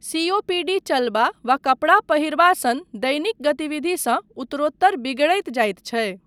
COPD चलबा वा कपड़ा पहिरबा सन दैनिक गतिविधिसँ उत्तरोत्तर बिगड़ैत जाइत छै।